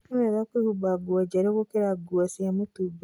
Nĩ wega kwĩhumba nguo njerũ gũkĩra nguo cia mũtũmba.